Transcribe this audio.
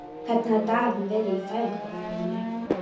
Hvernig hafa dagarnir verið í fæðingarorlofinu?